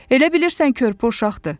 Elə bilirsən körpə uşaqdır.